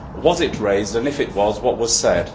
Was it raised and if it was, what was said?